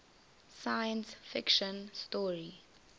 science fiction story